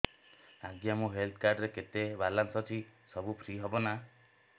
ଆଜ୍ଞା ମୋ health card ରେ କେତେ ବାଲାନ୍ସ ଅଛି ସବୁ ଫ୍ରି ହବ ନାଁ